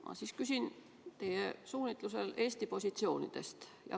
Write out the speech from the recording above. Ma siis küsin vastavalt suunisele Eesti positsioonide kohta.